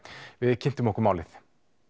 við kynntum okkur málið